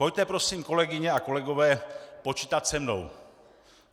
Pojďte prosím, kolegyně a kolegové, počítat se mnou.